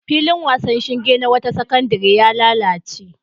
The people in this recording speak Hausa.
Filin wasan ƙwallon shinge na wata sakandare ya lalace.